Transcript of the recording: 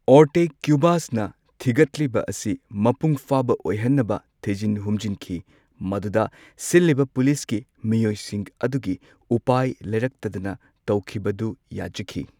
ꯑꯣꯔꯇꯦꯒ ꯀ꯭ꯌꯨꯚꯥꯁꯅ ꯊꯤꯒꯠꯂꯤꯕ ꯑꯁꯤ ꯃꯄꯨꯡꯐꯥꯕ ꯑꯣꯏꯍꯟꯅꯕ ꯊꯤꯖꯤꯟ ꯍꯨꯝꯖꯤꯟꯈꯤ꯫ ꯃꯗꯨꯗ ꯁꯤꯜꯂꯤꯕ ꯄꯨꯂꯤꯁꯀꯤ ꯃꯤꯑꯣꯢꯁꯤꯡ ꯑꯗꯨꯒꯤ ꯎꯄꯥꯢ ꯂꯩꯔꯛꯇꯗꯅ ꯇꯧꯈꯤꯕꯗꯨ ꯌꯥꯖꯈꯤ꯫